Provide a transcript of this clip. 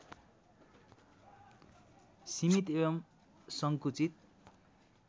सीमित एवं संकुचित